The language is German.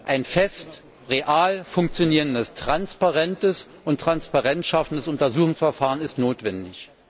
Ein festes, real funktionierendes, transparentes und Transparenz schaffendes Untersuchungsverfahren ist notwendig.